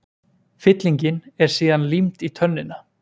Fyllingin er síðan límd í tönnina.